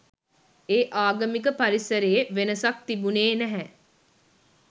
ඒ ආගමික පරිසරයේ වෙනසක් තිබුනේ නැහැ.